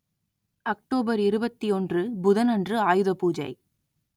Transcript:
October இருபத்தியொன்று புதன் அன்று ஆயுத பூஜை